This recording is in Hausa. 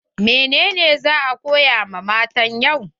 Menene za a koya wa matan yau?